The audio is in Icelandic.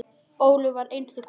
Ólöf var einstök kona.